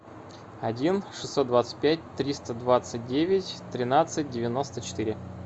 один шестьсот двадцать пять триста двадцать девять тринадцать девяносто четыре